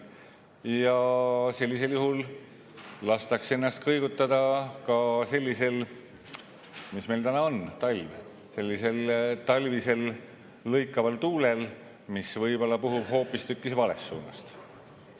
Ja sellisel juhul lastakse ennast kõigutada sellisel – mis meil täna on, talv –, sellisel talvisel lõikaval tuulel, mis võib-olla puhub hoopistükkis valest suunast.